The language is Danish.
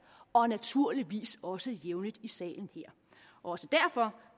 og naturligvis også jævnligt i salen her også derfor